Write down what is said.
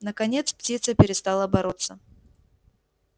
наконец птица перестала бороться